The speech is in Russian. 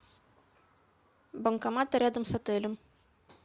банкоматы рядом с отелем